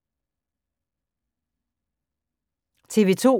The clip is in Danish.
TV 2